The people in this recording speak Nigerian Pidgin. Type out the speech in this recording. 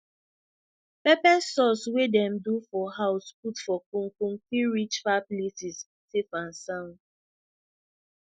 pepper sauce wey dem do for house put for con con fit reach far places safe and sound